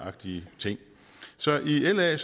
agtige ting så i la